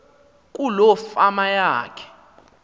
kuloo fama yakhe